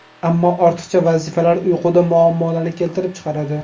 Ammo ortiqcha vazifalar uyquda muammolarni keltirib chiqaradi.